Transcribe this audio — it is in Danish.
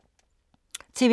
TV 2